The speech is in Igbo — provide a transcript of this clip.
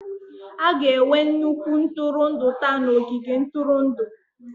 A ga-enwe nnukwu ntụrụndụ taa na ogige ntụrụndụ.